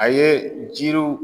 A ye jiriw